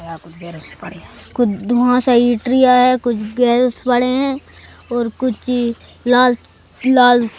कुछ धहा सा इट्रिया है कुछ गैस पड़े हैं और कुछ लाल लाल--